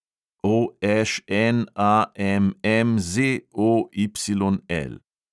OŠNAMMZOYL